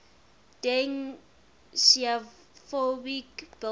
deng xiaoping billboard